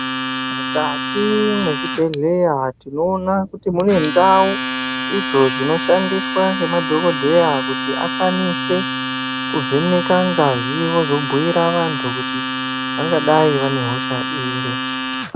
Mukati mezvibhedhleya, tinowona kuti munendawo idzo dzinoshandiswa ngemadhokodheya kuti akwanise kuvheneka ngazi yevozobuyira vantu kuti vangadayi vanehosha iri.